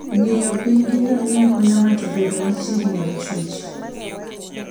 Ng'iyo piny gi ngamia konyo ng'ato bedo machiegni gi chwech.